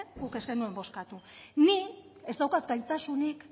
nik ez daukat gaitasunik